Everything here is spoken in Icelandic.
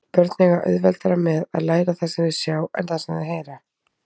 Börn eiga auðveldara með að læra það sem þau sjá en það sem þau heyra.